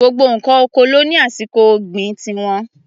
Gbogbo ǹkan oko ló ní àsìkò ọ̀gbìn ti wọn.